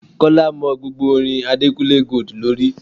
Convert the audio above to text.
Kọ́lá mọ gbogbo orin Adekunle Gold lórí.